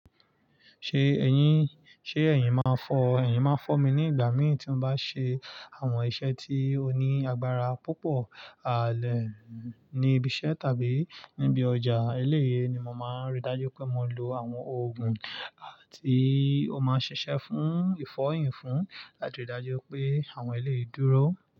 Ṣe eyin, ṣe eyin ma fọ, eyin ma fọ mi ni ìgbà mí tí mo bá ṣe àwọn iṣẹ́ tí ó ní agbára púpọ̀ ààlẹ̀ ní ibi iṣẹ́ tàbí níbi ọjà. Eléyii ni mo máa n rí dájú pé mo lo àwọn òògùn àti ó máa ṣiṣẹ́ fún ìfọyín fún láti rí dájú pé àwọn eléyìí dúró.